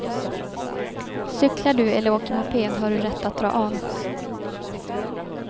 Cyklar du eller åker moped har du rätt att dra av.